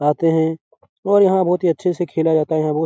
आते हैं और यहाँ बहुत ही अच्छे से खेला जाता है। यहाँ बहुत --